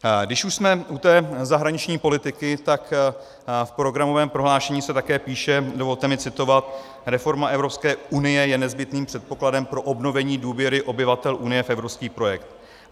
Když už jsme u té zahraniční politiky, tak v programovém prohlášení se také píše - dovolte mi citovat: Reforma Evropské unie je nezbytným předpokladem pro obnovení důvěry obyvatel Unie v evropský projekt.